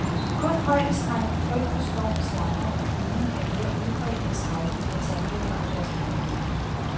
Kun højdeskræk, frygt for storm, slanger og flyvning er mere udbredt end skrækken for tandlæger og deres behandling.